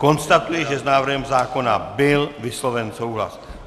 Konstatuji, že s návrhem zákona byl vysloven souhlas.